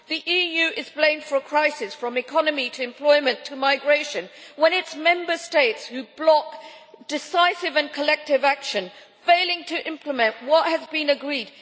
The EU is blamed for a crisis, from the economy to employment to migration, when it is Member States which block decisive and collective action, failing to implement what has been agreed.